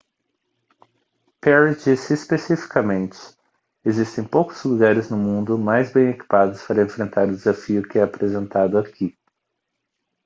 perry disse especificamente existem poucos lugares no mundo mais bem equipados para enfrentar o desafio que é apresentado aqui